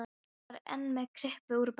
Kýrin var enn með kryppu upp úr bakinu.